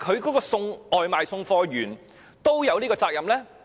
是否外賣員也有這種責任呢？